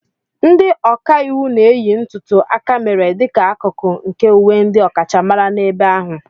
Ndị ọka iwu na-eyi ntùtù akamèrè dịka akụkụ nke uwe ndị ọkachamara n'ebe ahụ.